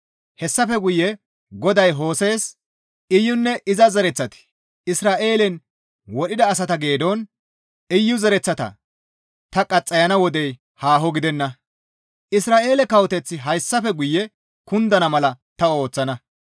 Hessafe guye GODAY Hose7es, «Iyunne iza zereththati Izra7eelen wodhida asata geedon Iyu zereththata ta qaxxayana wodey haaho gidenna; Isra7eele kawoteththi hayssafe guye kundana mala ta ooththana.